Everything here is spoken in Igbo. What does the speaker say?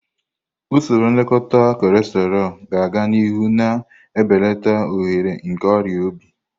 Usoro nlekọta cholesterol ga-aga n'ihu, na-ebelata ohere nke ọrịa obi.